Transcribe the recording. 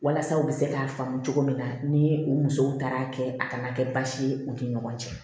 Walasa u bɛ se k'a faamu cogo min na ni u musow taara kɛ a kana kɛ baasi ye u ni ɲɔgɔn cɛ